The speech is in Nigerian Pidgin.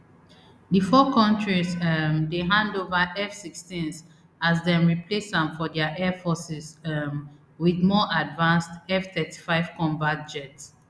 di four kontris um dey hand ova fsixteens as dem replace am for dia air forces um wit more advanced fthirty-five combat jet